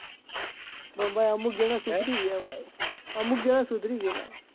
પણ ભાઈ અમુક જણાં સુધરી ગયા ભાઈ અમુક જણાં સુધરી ગયા.